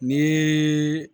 Ni